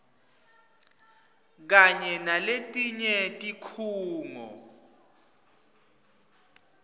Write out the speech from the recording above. kanye naletinye tikhungo